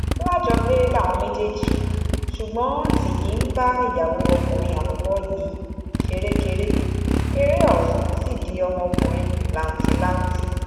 alájọgbé làwọn méjèèjì ṣùgbọ́n tìnyí ń bá ìyàwó ọkùnrin àkọ́kọ́ yìí ṣerékeré eré ọ̀hún sì di ọmọ ọkùnrin làǹtìlanti